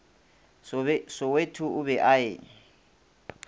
soweto o be a e